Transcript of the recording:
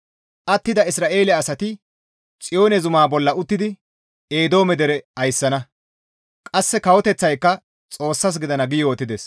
Attida Isra7eele asati Xiyoone zumaa bolla uttidi Eedoome dere ayssana; qasse kawoteththayka Xoossas gidana» gi yootides.